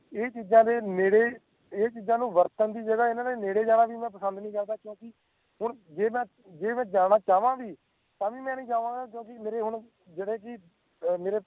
ਇਹ ਚੀਜ਼ਾਂ ਦੇ ਨੇੜੇ ਇਹ ਚੀਜ਼ਾਂ ਨੂੰ ਵਰਤਣ ਦੀ ਜਗਾਹ ਇਹਨਾਂ ਦੇ ਨੇੜੇ ਜਾਣਾ ਵੀ ਮੈਂ ਪਸੰਦ ਨਹੀਂ ਕਰਦਾ ਕਿਉਂਕਿ ਹੁਣ ਜੇ ਮੈਂ ਜੇ ਮੈਂ ਜਾਣਾ ਚਾਹਵਾਂ ਵੀ ਤਾਂ ਵੀ ਮੈਂ ਨਹੀਂ ਜਾਵਾਂ ਗਾ ਕਿਉਂਕਿ ਮੇਰੇ ਹੁਣ ਜਿਹੜੇ ਕਿ ਮੇਰੇ